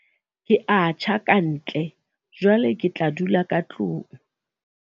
ke a tjha ka ntle, jwale ke tla dula ka tlong